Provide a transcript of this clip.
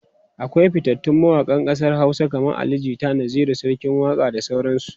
akwai fitattun mawaƙan ƙasar Hausa kaman Ali jita, Naziru sarkin waƙa da sauran su